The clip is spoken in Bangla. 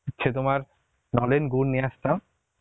তোমার নলেন গুর নিয়ে আসতাম